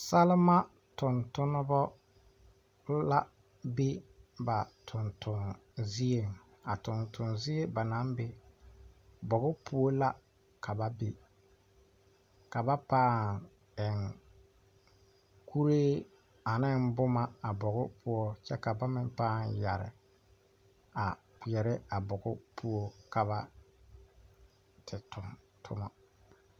Salima tontonnema la be ba tonton zieŋ a tonton zie ba naŋ be bogi poɔ la ka ba be ka ba pãã eŋ kuree aneŋ boma a bogi poɔ kyɛ ka ba meŋ pãã yɛre a kpeɛrɛ a bogi poɔ ka ba te toŋ toma.